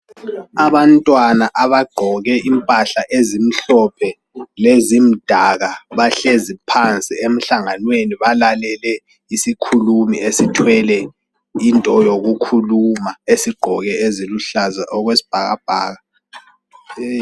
Abantwana abagqoke impahla ezimhlophe lezimdaka bahlezi phansi emhlanganweni balalele isikhulumi esithwele into yokukhuluma esigqoke eziluhlaza okwesibhakabhaka.